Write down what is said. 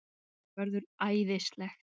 Það verður æðislegt!